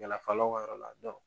ka yɔrɔ la